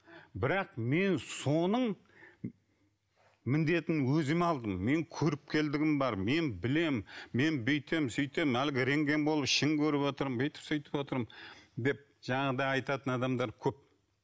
бірақ мен соның міндетін өзіме алдым менің көріккелдігім бар мен білемін мен бүйтемін сөйтемін әлгі рентген болып ішін көріватырмын деп бүйтіп сөйтіп отырмын деп жаңағыдай айтатын адамдар көп